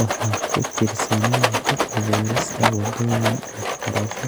Waa ku-tiirsanaanta abuurista wadooyin waxbarasho